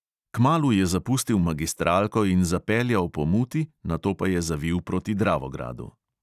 Kmalu je zapustil magistralko in zapeljal po muti, nato pa je zavil proti dravogradu.